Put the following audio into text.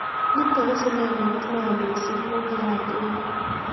Nitok ko sinemait ne ya mising' ne kia gere